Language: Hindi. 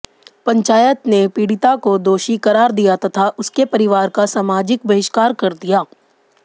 पंचायत ने पीड़िता को दोषी करार दिया तथा उसके परिवार का सामाजिक बहिष्कार कर दिया